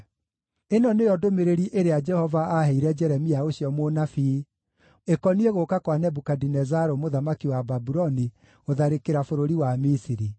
Ĩno nĩyo ndũmĩrĩri ĩrĩa Jehova aaheire Jeremia ũcio mũnabii ĩkoniĩ gũũka kwa Nebukadinezaru mũthamaki wa Babuloni, gũtharĩkĩra bũrũri wa Misiri: